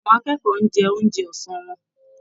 Àwọn akẹ́kọ̀ọ́ ń jẹun oúnjẹ ọsán wọn.